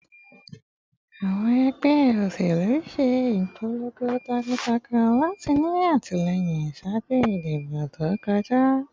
Awọn ẹgbẹ oṣelu ṣe ipolongo takuntakun lati ni atilẹyin ṣaaju idibo to kọja